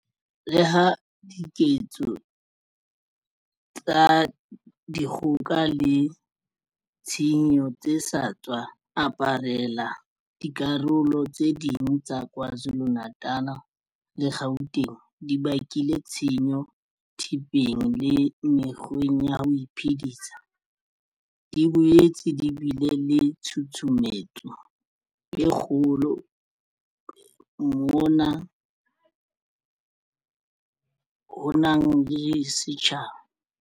Le ha diketso tsa di kgoka le tshenyo tse sa tswa aparela dikarolo tse ding tsa Kwa Zulu-Natal le Gauteng di bakile tshenyo thepeng le mekgweng ya ho iphedisa, di boetse di bile le tshu sumetso e kgolo moma hanong ya setjhaba.